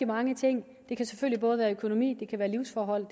mange ting det kan selvfølgelig både være økonomi livsforhold